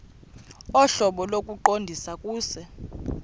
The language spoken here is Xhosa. ohlobo lokuqondisa kuse